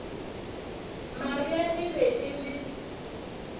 maria e be e le